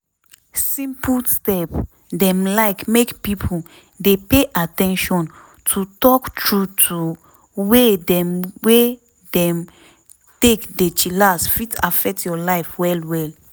simple step dem like make pipo dey pay at ten tion to talk trueto way dem wey dem take dey chillax fit affect your life well well.